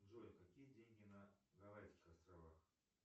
джой какие деньги на гавайских островах